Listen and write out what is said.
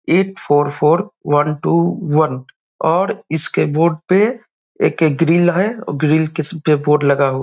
आठ four four one two one और इसके बोर्ड पे एक ग्रील है और ग्रील किस्म के बोर्ड लगा हुआ है।